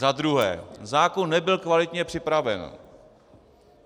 Za druhé, zákon nebyl kvalitně připraven.